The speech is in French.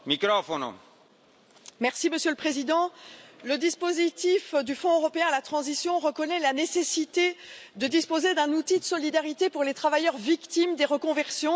Monsieur le Président, le dispositif du Fonds européen pour la transition reconnaît la nécessité de disposer d'un outil de solidarité pour les travailleurs victimes des reconversions, et je m'en félicite.